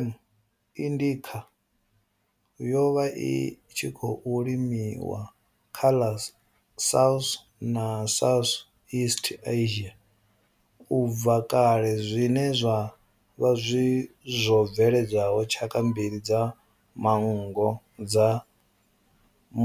M. indica yo vha i tshi khou limiwa kha ḽa South na Southeast Asia ubva kale zwine zwa vha zwo bveledza tshaka mbili dza manngo dza